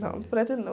Não, não pretendo não.